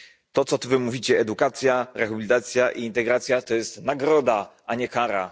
To co wy mówicie, ta edukacja, rehabilitacja i integracja, to jest nagroda a nie kara.